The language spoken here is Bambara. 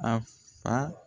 A fa